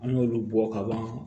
An y'olu bɔ ka ban